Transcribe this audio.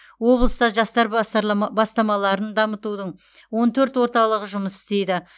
облыста жастар бастамаларын дамытудың он төрт орталығы жұмыс істейді